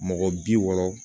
Mɔgɔ bi wɔɔrɔ